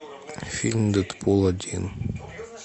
фильм дэдпул один